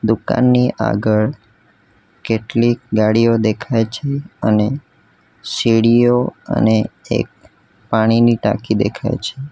દુકાનની આગળ કેટલીક ગાડીઓ દેખાય છે અને સીડીઓ અને એક પાણીની ટાંકી દેખાય છે.